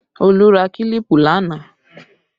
Olu ra kílípù lánàá